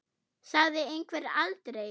Sagði einhver aldrei?